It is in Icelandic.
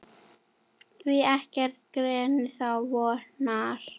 Því ekkert gerist án vonar.